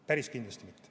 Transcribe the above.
Päris kindlasti.